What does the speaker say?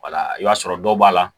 i b'a sɔrɔ dɔw b'a la